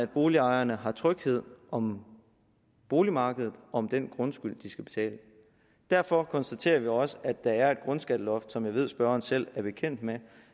boligejerne er tryghed om boligmarkedet og om den grundskyld de skal betale derfor konstaterer vi også at der er et grundskatteloft som jeg ved at spørgeren selv er bekendt med